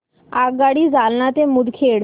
आगगाडी जालना ते मुदखेड